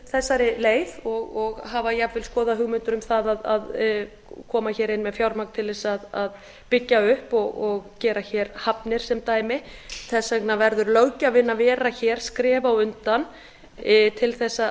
þessari leið og hafa jafnvel skoðað hugmyndir um það að koma inn með fjármagn til að byggja upp og gera hafnir sem dæmi þess vegna verður löggjafinn að vera skrefi á undan til